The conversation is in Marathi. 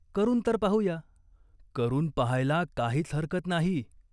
करून तर पाहू या." "करून पाहायला काहीच हरकत नाही.